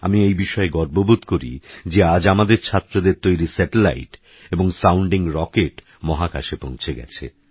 আমিএইবিষয়েগর্ববোধকরিযেআজআমাদেরছাত্রদেরতৈরি satellite এবং sounding rocket মহাকাশেপৌঁছেগেছে